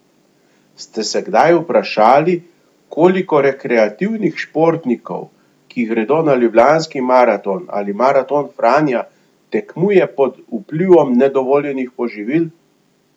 Ste se kdaj vprašali, koliko rekreativnih športnikov, ki gredo na Ljubljanski maraton ali Maraton Franja, tekmuje pod vplivom nedovoljenih poživil?